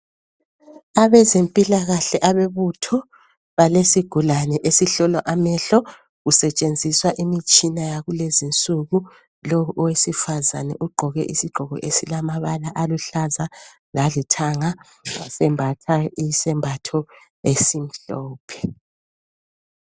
Abezempilakahle abebutho balesigulane esihlolwa amehlo . kusetshenziswa imitshina yakulezinsuku. Lowu owesifazane ugqoke ,isigqoko esilamabala aluhlaza lalithanga .Wasembatha isembatho esimhlophe.